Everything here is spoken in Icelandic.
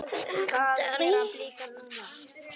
Takk fyrir allt, pabbi minn.